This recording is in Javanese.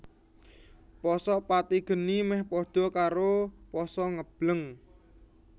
Pasa pati geni mèh pada karo pasa ngebleng